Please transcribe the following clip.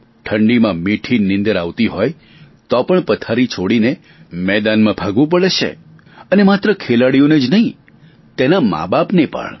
ઠંડીમાં મીઠી નીંદર આવતી હોય તો પણ પથારી છોડીને મેદાનમાં ભાગવું પડે છે અને માત્ર ખેલાડીને જ નહીં તેના માબાપને પણ